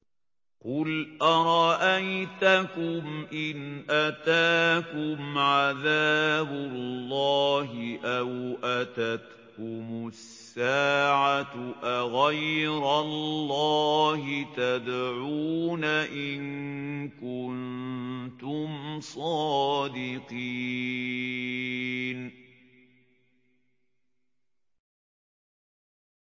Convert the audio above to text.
قُلْ أَرَأَيْتَكُمْ إِنْ أَتَاكُمْ عَذَابُ اللَّهِ أَوْ أَتَتْكُمُ السَّاعَةُ أَغَيْرَ اللَّهِ تَدْعُونَ إِن كُنتُمْ صَادِقِينَ